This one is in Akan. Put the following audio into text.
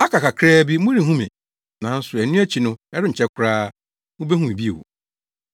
“Aka kakraa bi morenhu me, nanso ɛno akyi no ɛrenkyɛ koraa, mubehu me bio.”